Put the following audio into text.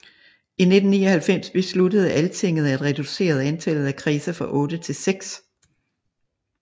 I 1999 besluttede Altinget at reducere antallet af kredse fra otte til seks